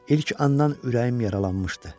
İlk andan ürəyim yaralanmışdı.